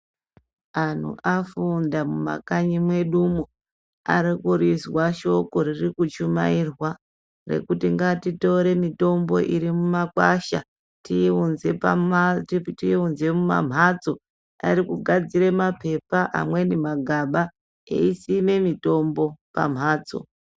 Antu afunda mumakanyi mwedumwo arikurizwa shoko ririkuchumairwa. Rekuti ngatitore mitombo iri mumakwasha tiiunze muma mhatso arikugadzire mapepa, amweni magaba eisime mitombo pamhatso.